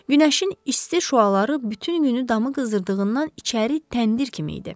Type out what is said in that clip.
Günəşin isti şüaları bütün günü damı qızdırdığından içəri təndir kimi idi.